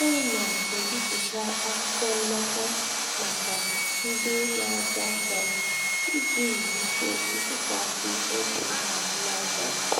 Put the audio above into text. Ọ na-ebipụta akwụkwọ nnata maka ndị na-azụ ahịa, iji wulite ntụkwasị obi azụmahịa.